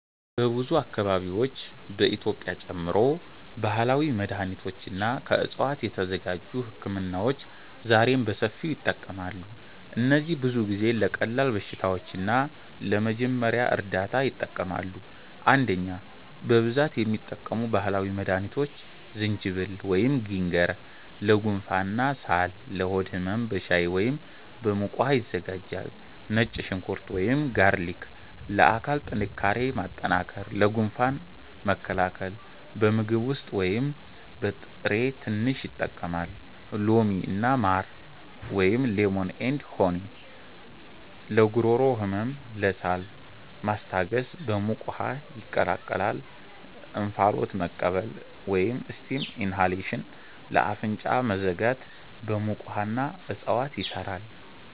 በብዙ አካባቢዎች (በኢትዮጵያ ጨምሮ) ባህላዊ መድሃኒቶች እና ከዕፅዋት የተዘጋጁ ህክምናዎች ዛሬም በሰፊው ይጠቀማሉ። እነዚህ ብዙ ጊዜ ለቀላል በሽታዎች እና ለመጀመሪያ እርዳታ ይጠቅማሉ። 1) በብዛት የሚጠቀሙ ባህላዊ መድሃኒቶች ዝንጅብል (Ginger) ለጉንፋን እና ሳል ለሆድ ህመም በሻይ ወይም በሙቅ ውሃ ይዘጋጃል ነጭ ሽንኩርት (Garlic) ለአካል ጥንካሬ ማጠናከር ለጉንፋን መከላከል በምግብ ውስጥ ወይም በጥሬ ትንሽ ይጠቀማል ሎሚ እና ማር (Lemon & Honey) ለጉሮሮ ህመም ለሳል ማስታገስ በሙቅ ውሃ ይቀላቀላል እንፋሎት መቀበል (Steam inhalation) ለአፍንጫ መዘጋት በሙቅ ውሃ እና እፅዋት ይሰራል